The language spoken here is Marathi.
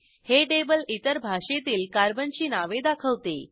हे टेबल इतर भाषेतील कार्बनची नावे दाखवते